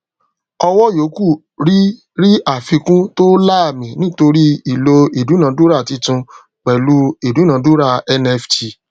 ọwọ yòókù ri ri àfikún to laami nítorí ìlò ìdúnádúrà títún pẹlú ìdúnádúrà nft